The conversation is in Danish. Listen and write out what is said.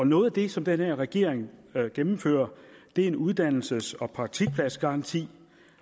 noget af det som den her regering gennemfører er en uddannelses og praktikpladsgaranti